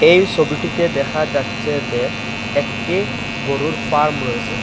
এই ছবিটিতে দেখা যাচ্ছে যে একটি গরুর ফার্ম রয়েসে ।